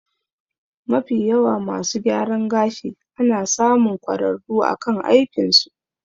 Mafiyawa masu gyaran gashi ana samun kwararru akan aikin su